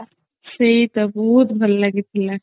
ସେଇ ତ ବହୁତ ଭଲ ଲାଗିଥିଲା